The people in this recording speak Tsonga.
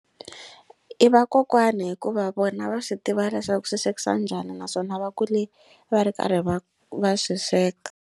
I vakokwani hikuva vona va swi tiva leswaku swi swekisa njhani naswona va kule va ri karhi va va swi sweka.